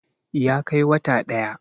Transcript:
ya Kai wata ɗaya